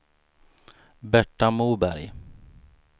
Berta Moberg